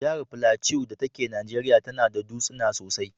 Jahar Plateau dake Najeriya tana da dutsuna sosai.